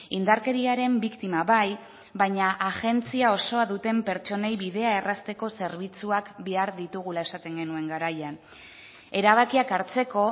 indarkeriaren biktima bai baina agentzia osoa duten pertsonei bidea errazteko zerbitzuak behar ditugula esaten genuen garaian erabakiak hartzeko